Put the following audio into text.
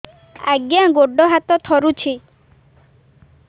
ଆଜ୍ଞା ଗୋଡ଼ ହାତ ଥରୁଛି